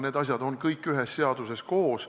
Need asjad on kõik ühes seaduses koos.